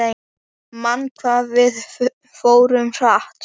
Man hvað við fórum hratt.